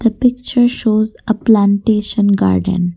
picture shows a plantation garden.